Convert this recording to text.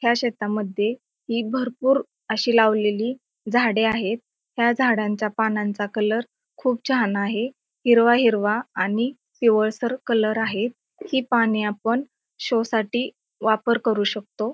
ह्या शेतामध्ये हि भरपूर अशी लावलेली झाडे आहेत ह्या झाडांचा पानांचा कलर खूप छान आहे हिरवा हिरवा आणि पिवळसर कलर आहे ही पाने आपण शो साठी वापर करू शकतो.